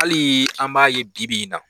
Hali an b'a ye bibi in na.